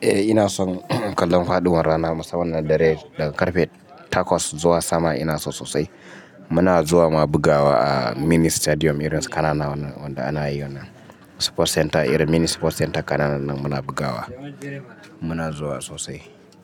Eh ina son kallon faɗuwar rana musamman da dare daga karfe takwas zuwa sama ina so sosai. Muna zuwa, mu bugawa a mini stadium irin kananan wanda ana yi wannan sports center, irin mini sports center kananan nan muna bugawa. Muna zuwa sosai,